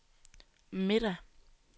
middag